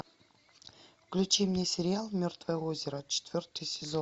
включи мне сериал мертвое озеро четвертый сезон